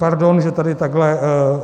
Pardon, že tady takhle...